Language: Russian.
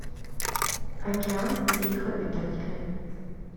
океан и их обитатели